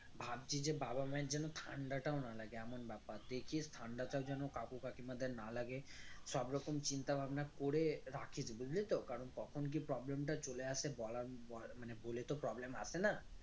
ভাবছি যে বাবা মা এর যেন ঠান্ডাটাও না লাগে এমন ব্যাপার দেখিস ঠান্ডাটা যেন কাকু কাকিমাদের না লাগে সব রকম চিন্তাভাবনা করে রাখিস বুঝলি তো কারন কখন কি problem টা চলে আসে বলার বলার মানে বলে তো problem আসে না